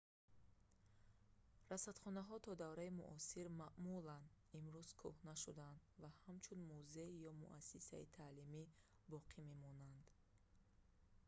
расадхонаҳои то давраи муосир маъмулан имрӯз кӯҳна шудаанд ва ҳамчун музей ё муассисаи таълимӣ боқӣ мемонанд